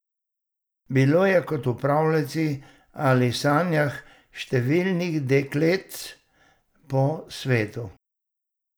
Bilo je kot v pravljici ali sanjah številnih dekletc po svetu!